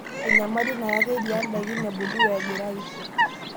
Enyamali nayaki eriyiaa ndaikin ebulu weengira aiishio;